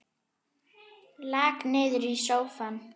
Lak niður í sófann.